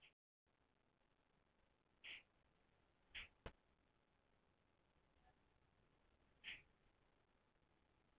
auk þess falla margir þeirra í heiðríkju